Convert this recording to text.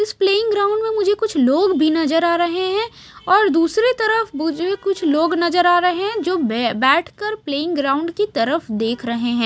इस playing ground में--